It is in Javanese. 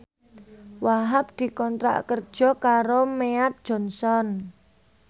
Wahhab dikontrak kerja karo Mead Johnson